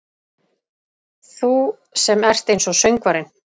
Þú sem ert einsog söngvarinn.